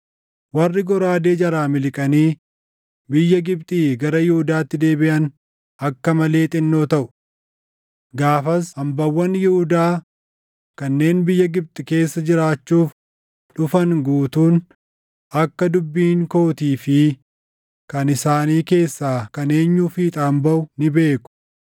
Warri goraadee jalaa miliqanii biyya Gibxii gara Yihuudaatti deebiʼan akka malee xinnoo taʼu. Gaafas hambaawwan Yihuudaa kanneen biyya Gibxi keessa jiraachuuf dhufan guutuun akka dubbiin kootii fi kan isaanii keessaa kan eenyuu fiixaan baʼu ni beeku.